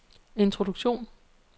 introduktion